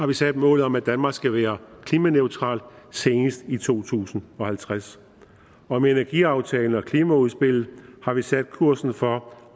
vi sat målet om at danmark skal være klimaneutralt senest i to tusind og halvtreds og med energiaftalen og klimaudspillet har vi sat kursen for